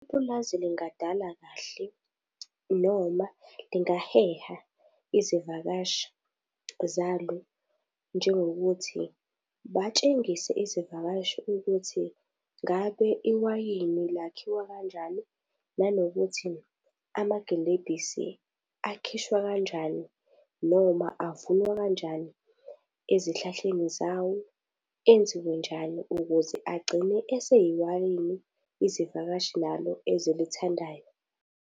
Ipulazi lingadala kahle noma lingaheha izivakashi zalo, njengokuthi batshengise izivakashi ukuthi ngabe iwayini lakhiwa kanjalo nanokuthi amagilebhisi akhishwa kanjani noma avunwa kanjani ezihlahleni zawo enziwe njani ukuze agcine eseyiwayini izivakashi nalo ezilithandayo.